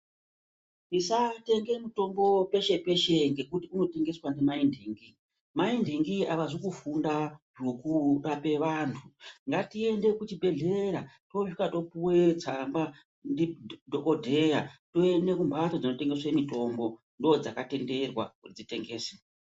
Tosatemge mutombo peshe peshe ngekuti munotengeswa ndimaindingi, maindingi avazi kufunda zvekurape vantu ngatiende kuzvibhedhlera tosvika topuwa tsamba ndidhokodheya toende kumhatso dzinotengese mutombo ndodzakatenderwa kuti dzitengese.